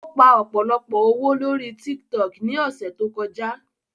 Ó pa ọ̀pọ̀lọpọ̀ owó lóri TikTok ní ọ̀sẹ̀ tó kọjá.